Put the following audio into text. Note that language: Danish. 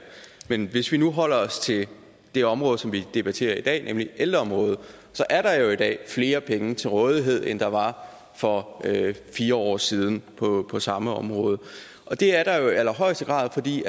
men hvis vi nu holder os til det område som vi debatterer i dag nemlig ældreområdet så er der jo i dag flere penge til rådighed end der var for fire år siden på på samme område det er der jo i allerhøjeste grad fordi